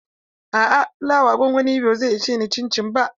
A'a, flawa gongoni biyu ba zai ishe ni ba.